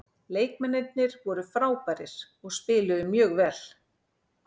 Leikmennirnir voru frábærir og spiluðu mjög vel.